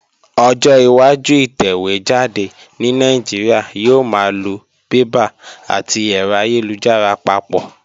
Ọjọ́ iwájú ìtẹ̀wé jáde ní Nàìjíríà yóò máa lo bébà àti ẹ̀rọ ayélujára papọ̀